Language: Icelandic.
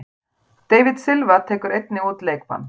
David Silva tekur einnig út leikbann.